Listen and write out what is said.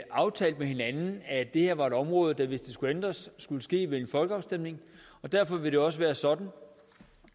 aftalt med hinanden at det her var et område der hvis det skulle ændres skulle ske ved en folkeafstemning og derfor vil det også være sådan